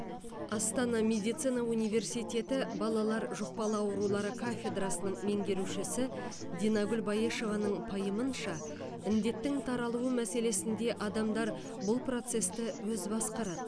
астана медицина университеті балалар жұқпалы аурулары кафедрасының меңгерушісі динагүл баешеваның пайымынша індеттің таралуы мәселесінде адамдар бұл процесті өзі басқарады